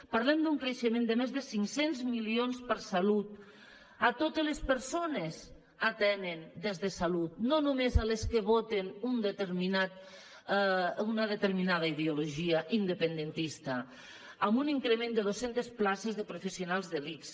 parlem d’un creixement de més de cinc cents milions per a salut a totes les persones atenen des de salut no només les que voten una determinada ideologia independentista amb un increment de dos cents places de professionals de l’ics